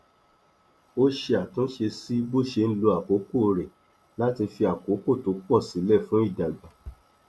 ó ṣe àtúnṣe sí bó ṣe ń lo àkókò rẹ láti fi àkókò tó pọ sílẹ fún ìdàgbà